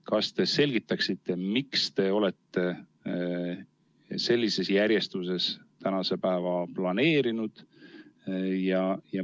Kas te selgitaksite, miks te olete sellises järjestuses tänase päeva planeerinud?